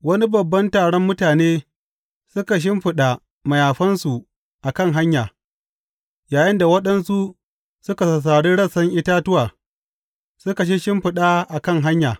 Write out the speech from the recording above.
Wani babban taron mutane suka shimfiɗa mayafansu a kan hanya, yayinda waɗansu suka sassari rassan itatuwa suka shisshimfiɗa a kan hanya.